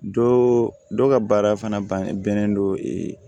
Dɔ dɔ ka baara fana bannen don